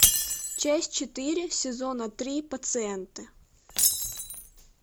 часть четыре сезона три пациенты